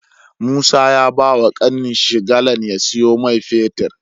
Musa ya bawa kanin shi galan ya siyo mai fetir